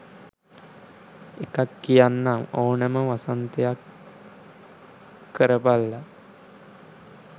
එකක් කියන්නම් ඕනම වසන්තයක් කරපල්ලා